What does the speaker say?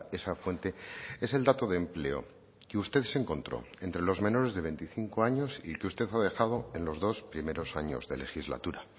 esa fuente es el dato de empleo que usted se encontró entre los menores de veinticinco años y que usted ha dejado en los dos primeros años de legislatura